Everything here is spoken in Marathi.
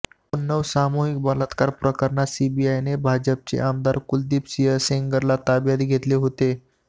उन्नाव सामूहिक बलात्कार प्रकरणात सीबीआयने भाजपाचे आमदार कुलदीप सिंह सेंगरला ताब्यात घेतले होते